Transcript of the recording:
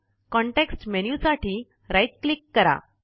context menu साठी right click करा